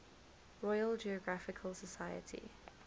royal geographical society